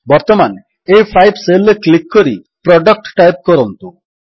ବର୍ତ୍ତମାନ ଆ5 ସେଲ୍ ରେ କ୍ଲିକ୍ କରି ପ୍ରଡକ୍ଟ ଟାଇପ୍ କରନ୍ତୁ